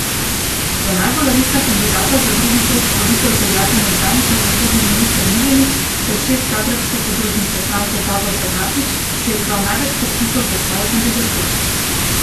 Za najbolj resna kandidata za drugi krog volitev veljata nekdanji pravosodni minister Miljenić ter šef zagrebške podružnice stranke Davor Bernardić, ki je zbral največ podpisov za svojo kandidaturo.